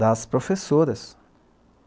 das professoras.